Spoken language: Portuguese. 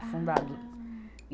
Afundado. Ah. E